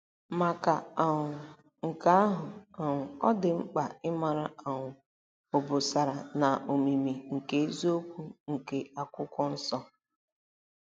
Maka um nke ahụ um, ọ dị mkpa ịmara' um obosara na omimi ' nke eziokwu nke Akwụkwọ Nsọ.